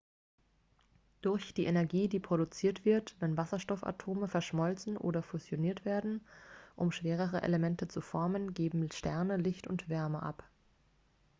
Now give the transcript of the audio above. durch die energie die produziert wird wenn wasserstoffatome verschmolzen oder fusioniert werden um schwerere elemente zu formen geben sterne licht und wärme ab